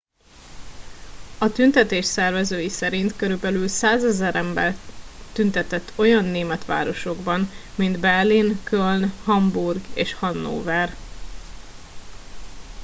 a tüntetés szervezői szerint körülbelül 100,000 ember tüntetett olyan német városokban mint berlin köln hamburg és hannover